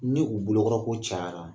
Ni u bolo kɔrɔ ko cayara